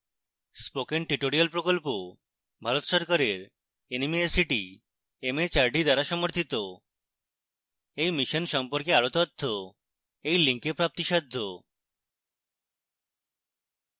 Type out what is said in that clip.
spoken tutorial প্রকল্প ভারত সরকারের nmeict mhrd দ্বারা সমর্থিত এই mission সম্পর্কে আরো তথ্য এই link প্রাপ্তিসাধ্য